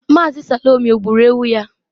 Mazi Salome gburu ewu ya?